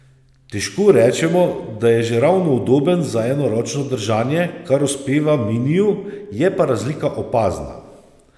Težko rečemo, da je že ravno udoben za enoročno držanje, kar uspeva miniju, je pa razlika opazna.